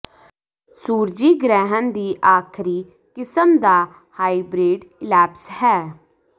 ਸੂਰਜੀ ਗ੍ਰਹਿਣ ਦੀ ਆਖਰੀ ਕਿਸਮ ਦਾ ਹਾਈਬ੍ਰਿਡ ਈਲੈਪਸ ਹੈ